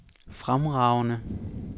fremragende